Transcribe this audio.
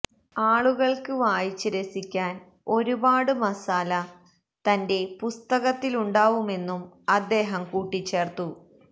ആളുകള്ക്ക് വായിച്ച് രസിക്കാന് ഒരുപാട് മസാല തന്റെ പുസ്തകത്തിലുണ്ടാവുമെന്നും അദ്ദേഹം കൂട്ടിച്ചേര്ത്തു